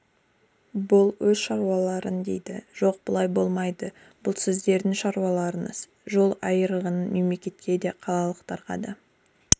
бұл өз шаруаларың дейді жоқ бұлай болмайды бұл сіздердің шаруаларыңыз жол айырығының мемлекетке де қалалықтарға да